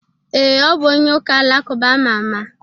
Ee, ọ bụ onye ụka-alakụba ama ama.